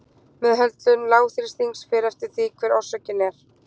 Meðhöndlun lágþrýstings fer eftir því hver orsökin er.